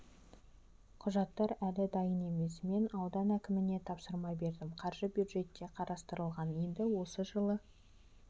құжаттар әлі дайын емес мен аудан әкіміне тапсырма бердім қаржы бюджетте қарастырылған енді осы жылы